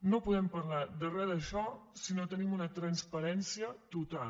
no podem parlar de re d’això si no tenim una transparència total